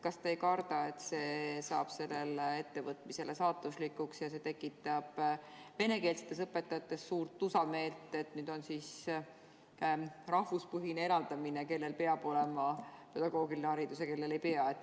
Kas te ei karda, et see saab sellele ettevõtmisele saatuslikuks, sest tekitab venekeelsetes õpetajates tusameelt, et nüüd on siis rahvuspõhine eraldamine: kellel peab olema pedagoogiline haridus ja kellel ei pea?